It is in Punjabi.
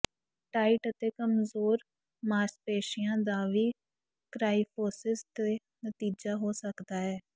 ਟਾਇਟ ਅਤੇ ਕਮਜ਼ੋਰ ਮਾਸਪੇਸ਼ੀਆਂ ਦਾ ਵੀ ਕ੍ਰਾਈਫੋਸਿਸ ਤੋਂ ਨਤੀਜਾ ਹੋ ਸਕਦਾ ਹੈ